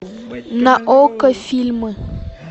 на окко фильмы